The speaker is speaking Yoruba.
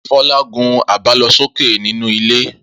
Fọlá gun àbálọsókè nínú ilé.